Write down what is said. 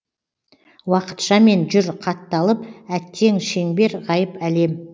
уақытшамен жүр қатталып әттең шеңбер ғайып әлем